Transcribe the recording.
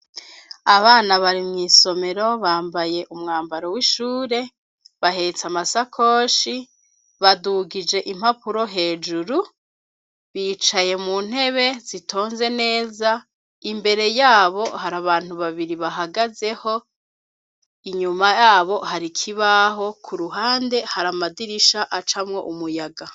Abana bari mw'isomero bambaye umwambaro w'ishure bahetse amasakoshi badugije impapuro hejuru bicaye mu ntebe zitonze neza imbere yabo har'abantu babiri bahagazeho inyuma yabo har'ikibaho k'uruhande hari amadirisha acamwo umuyaga.